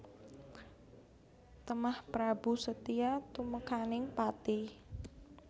Temah Prabu Setija tumekaning pati